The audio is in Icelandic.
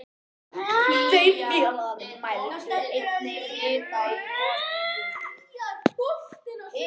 Þeir félagar mældu einnig hita í gospípu